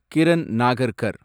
Kiran Nagarkar